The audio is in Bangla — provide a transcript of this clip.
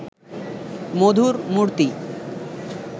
মধুর মূরতি